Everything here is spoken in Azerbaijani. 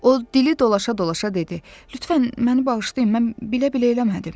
O dili dolaşa-dolaşa dedi: Lütfən məni bağışlayın, mən bilə-bilə eləmədim.